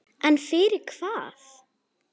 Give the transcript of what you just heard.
En fyrir hvað?